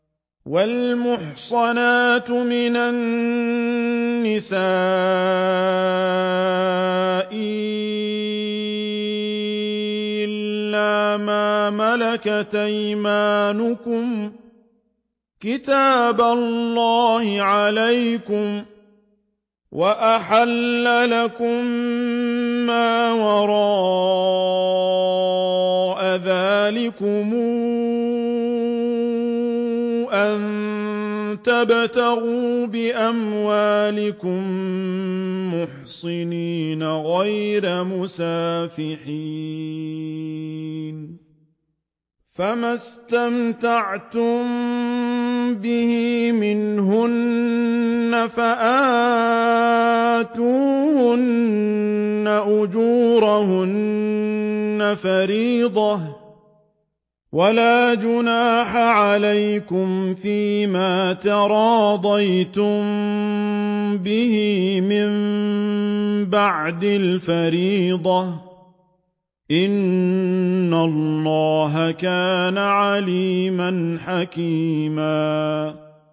۞ وَالْمُحْصَنَاتُ مِنَ النِّسَاءِ إِلَّا مَا مَلَكَتْ أَيْمَانُكُمْ ۖ كِتَابَ اللَّهِ عَلَيْكُمْ ۚ وَأُحِلَّ لَكُم مَّا وَرَاءَ ذَٰلِكُمْ أَن تَبْتَغُوا بِأَمْوَالِكُم مُّحْصِنِينَ غَيْرَ مُسَافِحِينَ ۚ فَمَا اسْتَمْتَعْتُم بِهِ مِنْهُنَّ فَآتُوهُنَّ أُجُورَهُنَّ فَرِيضَةً ۚ وَلَا جُنَاحَ عَلَيْكُمْ فِيمَا تَرَاضَيْتُم بِهِ مِن بَعْدِ الْفَرِيضَةِ ۚ إِنَّ اللَّهَ كَانَ عَلِيمًا حَكِيمًا